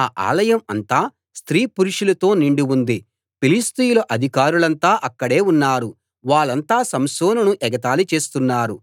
ఆ ఆలయం అంతా స్త్రీ పురుషులతో నిండి ఉంది ఫిలిష్తీయుల అధికారులంతా అక్కడే ఉన్నారు వాళ్ళంతా సంసోనును ఎగతాళి చేస్తున్నారు